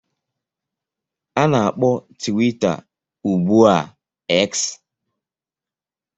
A na-akpọ Twitter ugbu a X